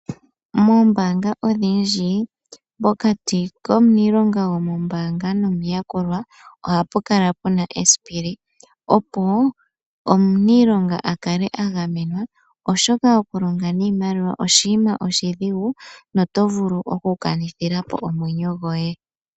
Moombaanga odhindji pokati komuniilonga gomombaanga nomuyakulwa ohapu kala pu na esipili, opo omuniilonga a kale a gamenwa oshoka okulonga niimaliwa oshinima oshidhigu noto vulu okukanithila po omwenyo goye.